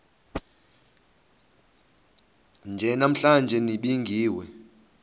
nje namhla nibingiwe